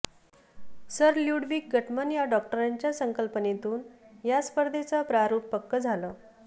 sir Ludwig Guttmann या डॉक्टरांच्या संकल्पनेतून या स्पर्धेचं प्रारुप पक्कं झालं